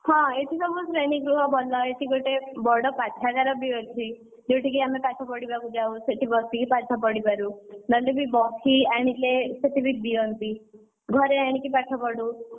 ହଁ ଏଠି ସବୁ ଶ୍ରେଣୀଗୃହ ଭଲ, ଏଠି ଗୋଟେ ବଡ ପାଠାଗାର ବି ଅଛି ଯୋଉଠି କି ଆମେ ପାଠ ପଢିବାକୁ ଯାଉ ସେଠି ବସିକି ପାଠ ପଢିପାରୁ ନହେଲେ ବି ବହି ଆଣିଲେ ସେଠି ବି ଦିଅନ୍ତି। ଘରେ ଆଣିକି ପାଠ ପଢୁ।